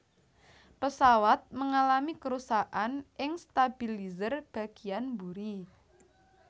Pesawat mengalami kerusakan ing stabilizer bagiyan mburi